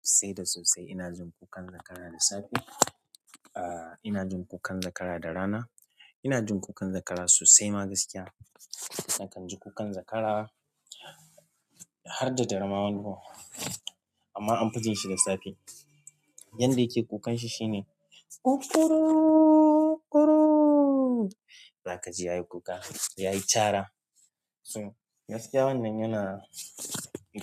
Sai da sosai ina jin kukan zakara da safe. A ina jin kukan zakara da rana. Ina jin kukan zakara sosai ma gaskiya. Nakan ji kukan zakara har da dare ma wani gun. Amma amfi jin shi da safe. Yanda yake kukan shi shine akkuu zakaji yayi kuka, yayi cara. So gaskiya wannan yana,